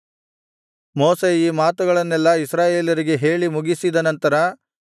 ಮೋಶೆ ಈ ಮಾತುಗಳನ್ನೆಲ್ಲಾ ಇಸ್ರಾಯೇಲರಿಗೆ ಹೇಳಿ ಮುಗಿಸಿದ ನಂತರ